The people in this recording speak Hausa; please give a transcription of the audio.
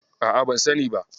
A'a, ban sani ba.